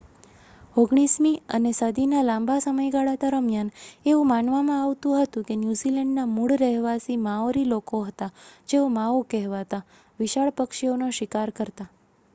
ઓગણીસમી અને સદીના લાંબા સમયગાળા દરમિયાન એવું માનવામાં આવતું હતું કે ન્યૂઝીલૅન્ડના મૂળ રહેવાસી માઓરી લોકો હતાં જેઓ માઓ કહેવાતા વિશાળ પક્ષીઓનો શિકાર કરતાં